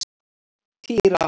Týra